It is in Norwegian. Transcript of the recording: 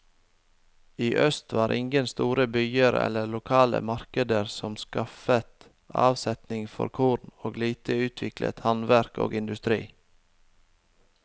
I øst var ingen store byer eller lokale markeder som skaffet avsetning for korn, og lite utviklet handverk og industri.